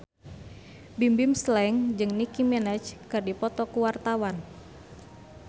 Bimbim Slank jeung Nicky Minaj keur dipoto ku wartawan